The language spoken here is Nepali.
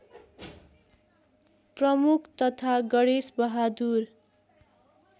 प्रमुख तथा गणेशबहादुर